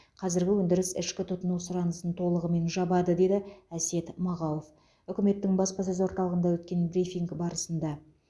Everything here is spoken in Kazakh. қазіргі өндіріс ішкі тұтыну сұранысын толығымен жабады деді әсет мағауов үкіметтің баспасөз орталығында өткен брифинг барысында